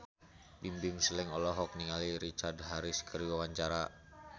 Bimbim Slank olohok ningali Richard Harris keur diwawancara